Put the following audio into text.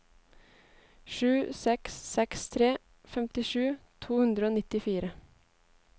sju seks seks tre femtisju to hundre og nittifire